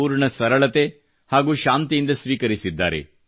ಪೂರ್ಣ ಸರಳತೆ ಹಾಗೂ ಶಾಂತಿಯಿಂದ ಸ್ವೀಕರಿಸಿದ್ದಾರೆ